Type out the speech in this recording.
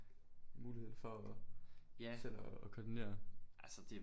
Mulighed for at selv at koordinere